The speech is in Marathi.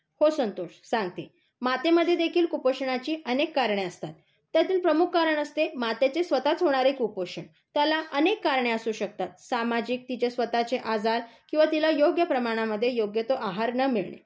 हो संतोष, सांगते. मातेमध्ये देखील कुपोषणाची अनेक कारणे असतात. त्यातील प्रमुख कारण असते मातेचे स्वतःच होणारे कुपोषण त्याला अनेक कारणे असू शकतात. सामाजिक, तिचे स्वतःचे आजार किंवा तिला योग्य प्रमाणामध्ये योग्य तो आहार न मिळणे,